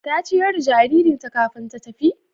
Ta ciyar da jaririnta kafin ta tafi?